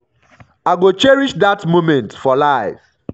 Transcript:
i go cherish dat moment for life.